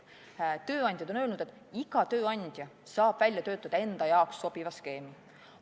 Tööandjad on öelnud, et iga tööandja saab välja töötada endale sobiva skeemi.